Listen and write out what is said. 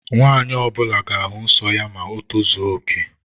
Nwanyi ọbula ga-ahu nsọ ya ma o tozuoke